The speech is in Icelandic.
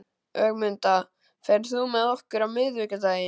Ögmunda, ferð þú með okkur á miðvikudaginn?